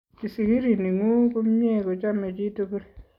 Kisikiri ning'uu kumnye kuchomei chitugul.